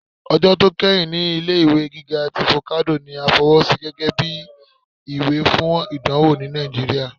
Ọjọ tó keyín ní ilé-ìwé gíga tí focado ní à fọwọ́sí gẹgẹbi ìwé fún ìdánwò ní Nàìjíríà.